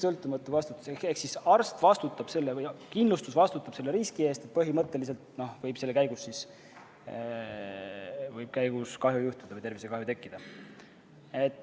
Ehk arst vastutab ja kindlustus vastutab selle riski eest, et põhimõtteliselt võib tervisekahju tekkida.